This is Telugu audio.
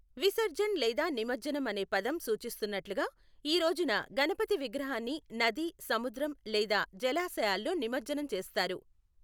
విసర్జన్ లేదా నిమజ్జనం అనే పదం సూచిస్తున్నట్లుగా, ఈ రోజున గణపతి విగ్రహాన్ని నది, సముద్రం లేదా జలాశయాల్లో నిమజ్జనం చేస్తారు.